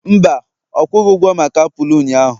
mba, ọ kwughị ụgwo maka apụl ụnyahụ